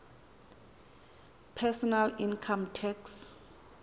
personal income tax